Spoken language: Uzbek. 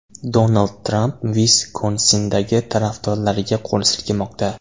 Donald Tramp Viskonsindagi tarafdorlariga qo‘l silkimoqda.